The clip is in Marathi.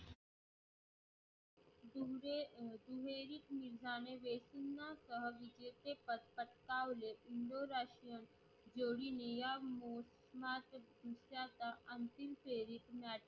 पदकावले इंडोरा जोडीणीयांमो